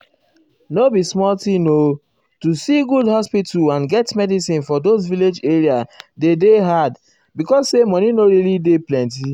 nor be small thing o to see good hospital and get medicin for those village areas dey dey hard because say money nor really dey plenty.